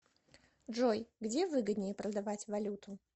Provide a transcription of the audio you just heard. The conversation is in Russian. джой где выгоднее продавать валюту